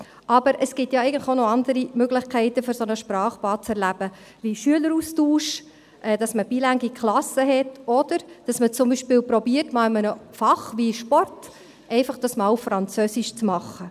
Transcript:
Aber es gibt ja eigentlich noch andere Möglichkeiten, ein solches Sprachbad zu erleben, wie Schüleraustausch, dass man bilingue Klassen hat, oder dass man zum Beispiel einmal in einem Fach wie Sport einfach versucht, das einmal auf Französisch zu machen.